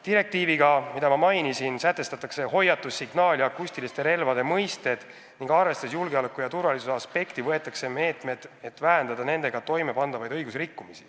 Direktiiviga, mida ma mainisin, sätestatakse hoiatus-, signaal- ja akustilise relva mõisted ning arvestades julgeoleku ja turvalisuse aspekti, võetakse meetmed, et vähendada nendega toime pandavaid õigusrikkumisi.